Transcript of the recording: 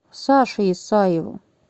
саше исаеву